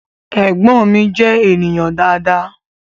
Ẹ̀gbọ́n mi je ènìyàn dáadáa